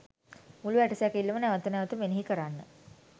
මුළු ඇටසැකිල්ලම නැවත නැවත මෙනෙහි කරන්න.